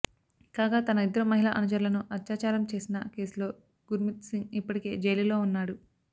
కాగా తన ఇద్దరు మహిళా అనుచరులను అత్యాచారం చేసిన కేసులో గుర్మిత్సింగ్ ఇప్పటికే జైలులో ఉన్నాడు